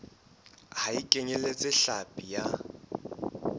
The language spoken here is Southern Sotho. ha e kenyeletse hlapi ya